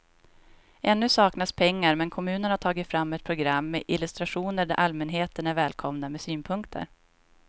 Ännu saknas pengar men kommunen har tagit fram ett program med illustrationer där allmänheten är välkomna med synpunkter.